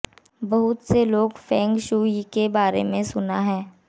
बहुत से लोग फेंग शुई के बारे में सुना है